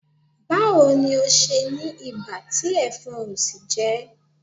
Báwo ni ò ṣe ní ibà tí ẹ̀fọn ò sì jẹ ẹ́?